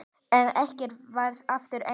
En ekkert varð aftur eins.